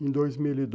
em dois mil e.